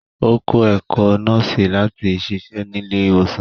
Ó kó̩ ẹ̀kó̩ nọ́ọ̀sì lati siṣe nílé ìwòsàn